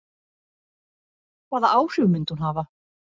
Hvaða áhrif myndi hún hafa?